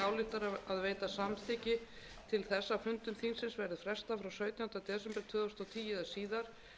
frestað frá sautjándu desember tvö þúsund og tíu eða síðar ef nauðsyn krefur til sautjándu janúar